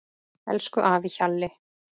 Elsku afi Hjalli.